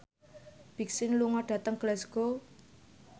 Big Sean lunga dhateng Glasgow